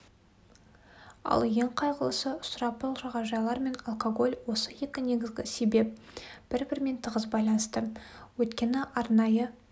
ал ең қайғылысы сұрапыл жағажайлар мен алкоголь осы екі негізгі себеп бір-бірімен тығыз байланысты өйткені арнайы